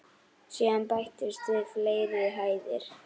Síðan bættust við fleiri hæðir.